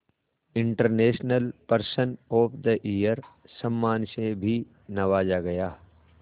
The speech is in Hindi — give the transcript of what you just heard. international person of the year सम्मान से भी नवाजा गया